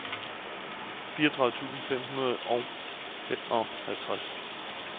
fireogtredive tusind fem hundrede og femoghalvtreds